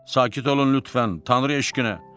Sakit olun lütfən, Tanrı eşqinə.